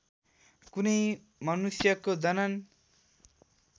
कुनै मनुष्यको जनन